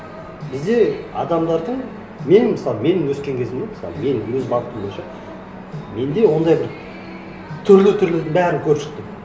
бізде адамдардың мен мысалы менің өскен кезімде мысалы менің өз бағытым бойынша менде ондай бір түрлі түрлінің барын көріп шықтым